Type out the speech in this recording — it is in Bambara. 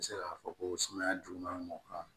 N bɛ se k'a fɔ ko sumaya juguman b'o kan